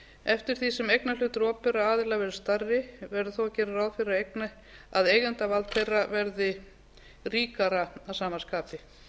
eftir því sem eignarhlutur opinberra aðila verður stærri verður þó að gera ráð fyrir að eigendavald þeirra verði ríkara að sama skapi